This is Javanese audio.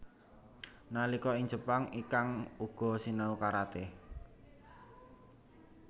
Nalika ing Jepang Ikang uga sinau karaté